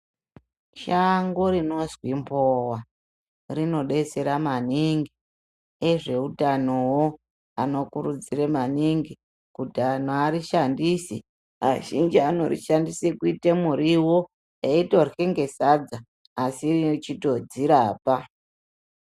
Shango rinozwi mbowa rinodetsera maningi. Ezveutanowo anokurudzira maningi kuti antu arishandise. Azhinji anorishandise kuite muriwo eitorye nesadza asi echitodzirapa.